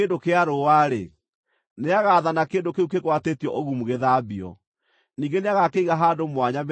nĩagaathana kĩndũ kĩu kĩgwatĩtio ũgumu gĩthambio. Ningĩ nĩagakĩiga handũ mwanya mĩthenya ĩngĩ mũgwanja.